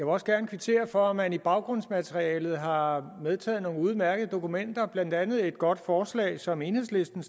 også gerne kvittere for at man i baggrundsmaterialet har medtaget nogle udmærkede dokumenter blandt andet et godt forslag som enhedslisten